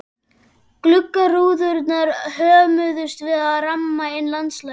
Gluggarúðurnar hömuðust við að ramma inn landslagið.